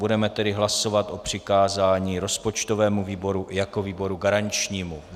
Budeme tedy hlasovat o přikázání rozpočtovému výboru jako výboru garančnímu.